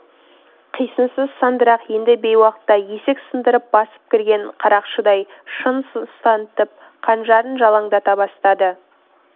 қисынсыз сандырақ енді бейуақта есік сындырып басып кірген қарақшыдай шын сұс танытып қанжарын жалаңдата бастады